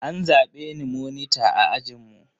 An zabe ni monita a ajinmu.